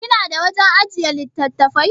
Kina da wajan ajjiye littattafai?